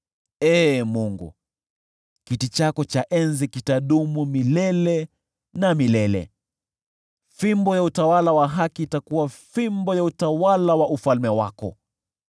Ee Mungu, kiti chako cha enzi kitadumu milele na milele, fimbo ya utawala wa haki itakuwa fimbo ya utawala wa ufalme wako.